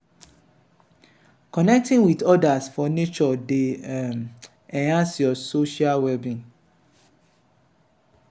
connecting with others for nature dey um enhance your social well-being.